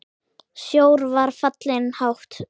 Sjór var fallinn hátt.